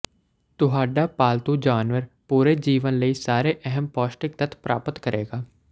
ਤੁਹਾਡਾ ਪਾਲਤੂ ਜਾਨਵਰ ਪੂਰੇ ਜੀਵਨ ਲਈ ਸਾਰੇ ਅਹਿਮ ਪੌਸ਼ਟਿਕ ਤੱਤ ਪ੍ਰਾਪਤ ਕਰੇਗਾ